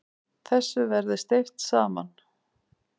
Þessu verði steypt saman.